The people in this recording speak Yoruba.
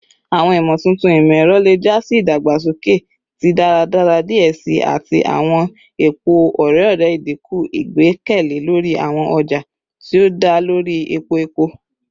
Awọn imotuntun imọ-ẹrọ le ja si idagbasoke ti daradara diẹ sii ati awọn epo ore-ọrẹ, idinku igbẹkẹle lori awọn ọja ti o da lori epo epo.